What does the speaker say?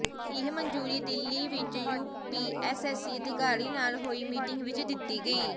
ਇਹ ਮਨਜ਼ੂਰੀ ਦਿੱਲੀ ਵਿਚ ਯੂਪੀਐੱਸਸੀ ਅਧਿਕਾਰੀ ਨਾਲ ਹੋਈ ਮੀਟਿੰਗ ਵਿਚ ਦਿੱਤੀ ਗਈ